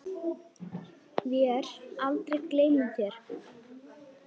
Vér aldrei gleymum þér.